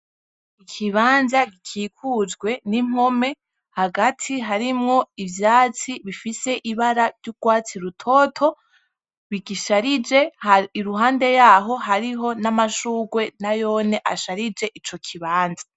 Ikibanza gikikujwe n'impome, hagati harimwo ivyatsi bifise ibara ry'ugwatsi rutoto bigisharije iruhande yaho hariho n'amashure nayone asharije ico kibanza.